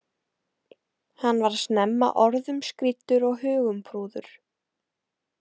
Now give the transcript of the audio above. Hann varð snemma orðum skrýddur og hugumprúður.